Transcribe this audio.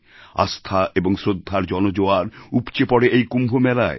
আস্থা এবং শ্রদ্ধার জনজোয়ার উপচে পড়ে এই কুম্ভমেলায়